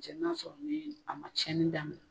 Cɛ n'a sɔrɔ ni a ma tiɲɛni daminɛ.